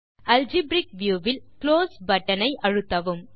algebraic view வில் close button ஐ அழுத்தவும்